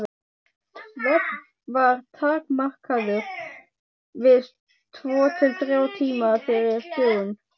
Svefn var takmarkaður við tvo til þrjá tíma fyrir dögun.